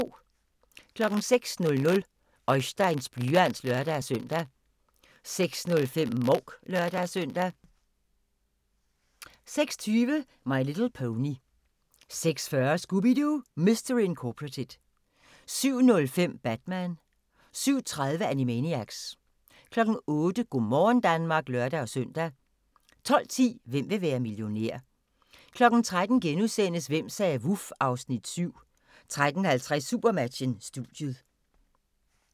06:00: Oisteins blyant (lør-søn) 06:05: Mouk (lør-søn) 06:20: My Little Pony 06:40: Scooby-Doo! Mystery Incorporated 07:05: Batman 07:30: Animaniacs 08:00: Go' morgen Danmark (lør-søn) 12:10: Hvem vil være millionær? 13:00: Hvem sagde vuf? (Afs. 7)* 13:50: SuperMatchen: Studiet